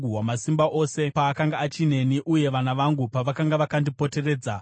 Wamasimba Ose paakanga achineni uye vana vangu pavakanga vakandipoteredza,